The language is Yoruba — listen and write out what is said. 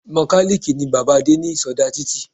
Mokàlìkì ni bàbáa Adé ní ìsodá títì